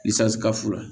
ka fu la